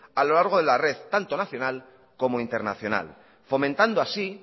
a lo largo de la red tanto nacional como internacional fomentando así